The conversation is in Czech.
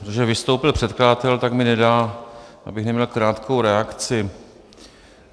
Protože vystoupil předkladatel, tak mi nedá, abych neměl krátkou reakci.